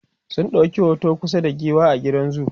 sun ɗauki hoto kusa da giwa a gidan zoo